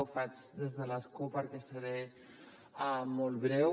ho faig des de l’escó perquè seré molt breu